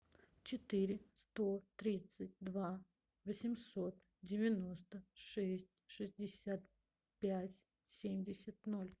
четыре сто тридцать два восемьсот девяносто шесть шестьдесят пять семьдесят ноль